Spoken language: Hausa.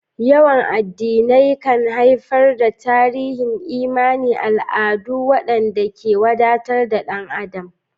Yawan addinai kan haifar da tarin imani, al'adu, waɗanda ke wadatar da ɗan adam.